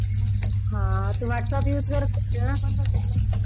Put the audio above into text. . हा पण तू Whatsappuse करत अशील ना पण तिकडे.